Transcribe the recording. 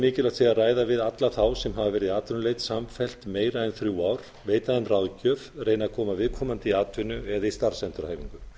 mikilvægt sé að ræða við alla þá sem hafa verið í atvinnuleit samfellt í meira en þrjú ár veita þeim ráðgjöf reyna að koma viðkomandi í atvinnu eða í starfsendurhæfingu